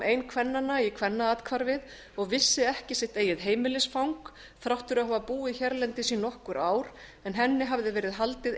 ein kvennanna í kvennaathvarfið og vissi ekki sitt eigið heimilisfang þrátt fyrir að hafa búið hérlendis í nokkur ár en henni hafði verið haldið